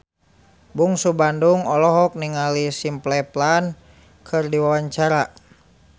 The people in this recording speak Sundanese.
Bungsu Bandung olohok ningali Simple Plan keur diwawancara